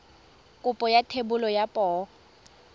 kopo ya thebolo ya poo